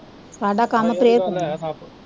ਸਾਡਾ ਕੰਮ prayer ਕਰਨਾ